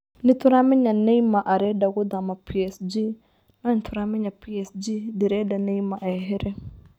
Nĩtũramenya Neymar arenda gũthama PSG no nĩtũrameya PSG ndĩrenda Neymar ehere